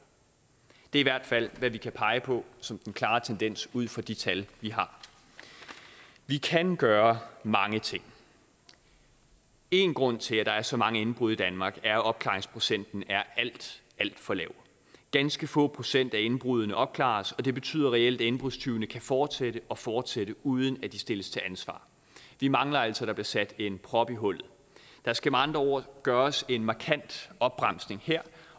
det er i hvert fald hvad vi kan pege på som den klare tendens ud fra de tal vi har vi kan gøre mange ting en grund til at der er så mange indbrud i danmark er jo at opklaringsprocenten er alt alt for lav ganske få procent af indbruddene opklares og det betyder reelt at indbrudstyvene kan fortsætte og fortsætte uden at de stilles til ansvar vi mangler altså at der bliver sat en prop i hullet der skal med andre ord gøres en markant opbremsning her